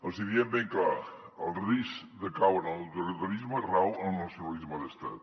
els hi diem ben clar el risc de caure en l’autoritarisme rau en el nacionalisme d’estat